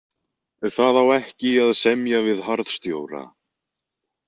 Það á ekki að semja við harðstjóra.